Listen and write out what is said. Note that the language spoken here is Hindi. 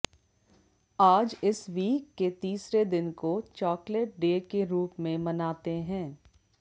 आज इस वीक के तीसरे दिन को चॉकलेट डे के रूप में मनाते है